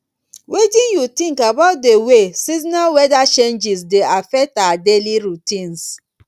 wetin you think about di way seasonal wheather changes dey affect our daily routines